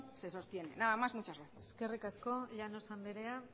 se sostiene nada más muchas gracias eskerrik asko llanos andrea